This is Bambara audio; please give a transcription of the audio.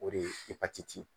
O de ye epatiti ye.